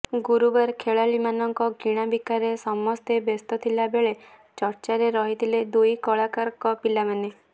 ଗୁରୁବାର ଖେଳାଳିମାନଙ୍କ କିଣାବିକାରେ ସମସ୍ତେ ବ୍ୟସ୍ତ ଥିଲା ବେଳେ ଚର୍ଚ୍ଚାରେ ରହିଥିଲେ ଦୁଇ କଳାକାରଙ୍କ ପିଲାମାନେ